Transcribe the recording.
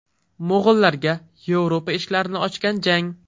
Mo‘g‘ullarga Yevropa eshiklarini ochgan jang.